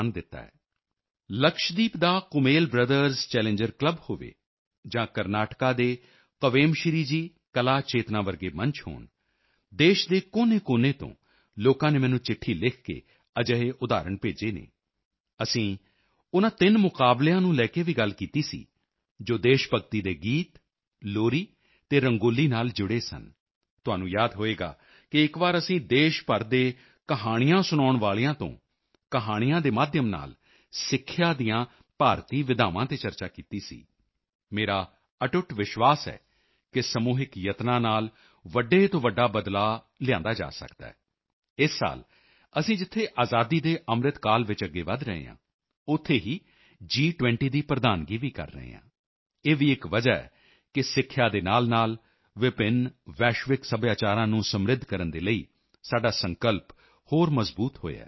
ਲਕਸ਼ਦੀਪ ਦਾ Kummel brothers challengers club Kummel brothers challengers club ਹੋਵੇ ਜਾਂ ਕਰਨਾਟਕਾ ਦੇ ਕਵੇਮਸ਼੍ਰੀ ਜੀ ਕਲਾ ਚੇਤਨਾ ਵਰਗੇ ਮੰਚ ਹੋਣ ਦੇਸ਼ ਦੇ ਕੋਨੇਕੋਨੇ ਤੋਂ ਲੋਕਾਂ ਨੇ ਮੈਨੂੰ ਚਿੱਠੀ ਲਿਖ ਕੇ ਅਜਿਹੇ ਉਦਾਹਰਣ ਭੇਜੇ ਹਨ ਅਸੀਂ ਉਨ੍ਹਾਂ ਤਿੰਨ ਮੁਕਾਬਲਿਆਂ ਕੰਪੀਟੀਸ਼ਨਜ਼ ਨੂੰ ਲੈ ਕੇ ਵੀ ਗੱਲ ਕੀਤੀ ਸੀ ਜੋ ਦੇਸ਼ ਭਗਤੀ ਦੇ ਗੀਤ ਲੋਰੀ ਅਤੇ ਰੰਗੋਲੀ ਨਾਲ ਜੁੜੇ ਸਨ ਤੁਹਾਨੂੰ ਯਾਦ ਹੋਵੇਗਾ ਕਿ ਇਕ ਵਾਰ ਅਸੀਂ ਦੇਸ਼ ਭਰ ਦੇ ਕਹਾਣੀਆਂ ਸੁਣਾਉਣ ਵਾਲਿਆਂ ਸਟੋਰੀ ਟੈਲਰਜ਼ ਤੋਂ ਕਹਾਣੀਆਂ ਸਟੋਰੀ ਟੈਲਿੰਗ ਦੇ ਮਾਧਿਅਮ ਨਾਲ ਸਿੱਖਿਆ ਦੀਆਂ ਭਾਰਤੀ ਵਿਧਾਵਾਂ ਤੇ ਚਰਚਾ ਕੀਤੀ ਸੀ ਮੇਰਾ ਅਟੁੱਟ ਵਿਸ਼ਵਾਸ ਹੈ ਕਿ ਸਮੂਹਿਕ ਯਤਨਾਂ ਨਾਲ ਵੱਡੇ ਤੋਂ ਵੱਡਾ ਬਦਲਾਅ ਲਿਆਇਆ ਜਾ ਸਕਦਾ ਹੈ ਇਸ ਸਾਲ ਅਸੀਂ ਜਿੱਥੇ ਅਸੀਂ ਆਜ਼ਾਦੀ ਕੇ ਅੰਮ੍ਰਿਤ ਕਾਲ ਵਿੱਚ ਅੱਗੇ ਵਧ ਰਹੇ ਹਾਂ ਉੱਥੇ ਹੀ ਜੀ20 ਦੀ ਪ੍ਰਧਾਨਗੀ ਵੀ ਕਰ ਰਹੇ ਹਾਂ ਇਹ ਵੀ ਇਕ ਵਜ੍ਹਾ ਹੈ ਕਿ ਸਿੱਖਿਆ ਦੇ ਨਾਲਨਾਲ ਵਿਭਿੰਨ ਵੈਸ਼ਵਿਕ ਸੱਭਿਆਚਾਰਾਂ ਡਾਈਵਰਸ ਗਲੋਬਲ ਕਲਚਰਜ਼ ਨੂੰ ਸਮ੍ਰਿੱਧ ਕਰਨ ਦੇ ਲਈ ਸਾਡਾ ਸੰਕਲਪ ਹੋਰ ਮਜ਼ਬੂਤ ਹੋਇਆ ਹੈ